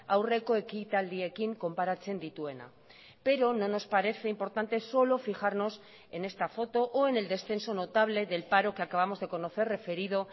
aurreko ekitaldiekin konparatzen dituena pero no nos parece importante solo fijarnos en esta foto o en el descenso notable del paro que acabamos de conocer referido